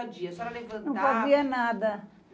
dia. A senhora levantava... Não fazia nada.